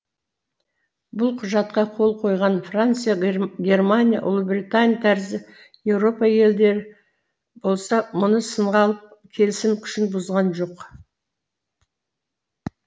бұл құжатқа қол қойған франция германия ұлыбритания тәрізді еуропа елдері болса мұны сынға алып келісім күшін бұзған жоқ